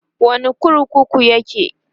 a wani kurkukun yake?